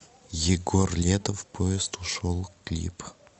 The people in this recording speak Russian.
егор летов поезд ушел клип